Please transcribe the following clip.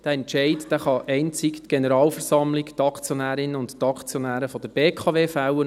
Diesen Entscheid kann einzig die Generalversammlung – die Aktionärinnen und Aktionäre der BKW – fällen.